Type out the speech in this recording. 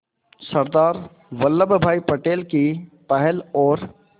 सरदार वल्लभ भाई पटेल की पहल और